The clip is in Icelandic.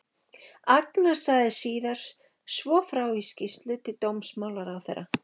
Agnar sagði síðar svo frá í skýrslu til dómsmálaráðherra